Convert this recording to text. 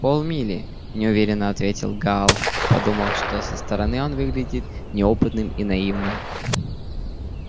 полмили неуверенно ответил гаал подумав что со стороны он выглядит неопытным и наивным